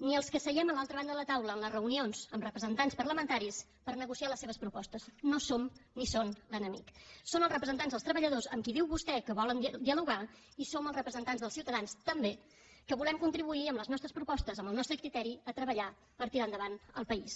ni els que seiem a l’altra banda de la taula en les reunions amb representants parlamentaris per negociar les seves propostes no som ni són l’enemic són els representants dels treballadors amb qui diu vostè que volen dialogar i som els representants dels ciutadans també que volem contribuir amb les nostres propostes amb el nostre criteri a treballar per tirar endavant el país